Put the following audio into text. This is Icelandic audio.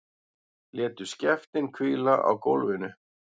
Létu skeftin hvíla á gólfinu.